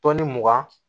Tɔni mugan